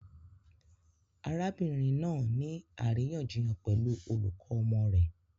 Arabinrin naa ni ariyanjiyan pẹlu olukọ ọmọ rẹ